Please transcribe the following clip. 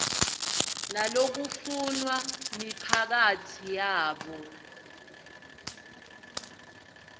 nalokufunwa miphakatsi yabo